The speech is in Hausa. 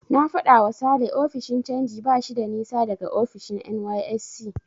Na faɗawa Sale ofishin canji bashi da nisa daga ofishin NYSC.